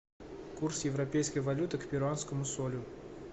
курс европейской валюты к перуанскому солю